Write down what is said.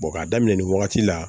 k'a daminɛ nin wagati la